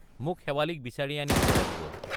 মোক শেৱালিক বিচাৰি আনি দিব লাগিব।